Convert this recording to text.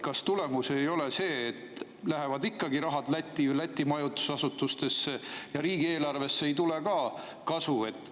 Kas tulemus ei ole see, et rahad lähevad ikkagi Lätti ja Läti majutusasutustesse ja riigieelarvesse ei tule kasu?